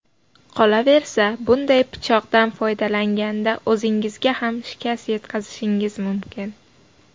Qolaversa, bunday pichoqdan foydalanganda o‘zingizga ham shikast yetkazishingiz mumkin.